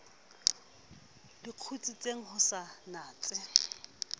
le kgutsitseng o sa natse